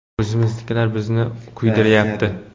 O‘zimiznikilar bizni kuydirayapti”.